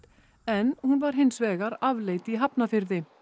en hún var hins vegar afleit í Hafnarfirði